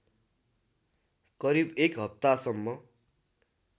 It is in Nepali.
करिब एक हप्तासम्म